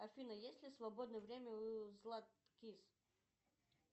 афина есть ли свободное время у златкис